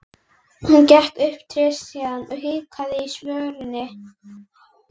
Hún gekk upp tréstigann og hikaði á skörinni.